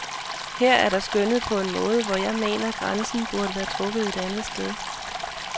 Her er der skønnet på en måde, hvor jeg mener, grænsen burde være trukket et andet sted.